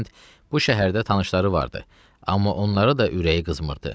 Hərçənd bu şəhərdə tanışları vardı, amma onları da ürəyi qızdırmırdı.